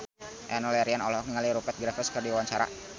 Enno Lerian olohok ningali Rupert Graves keur diwawancara